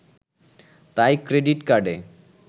তাই ক্রেডিট কার্ডে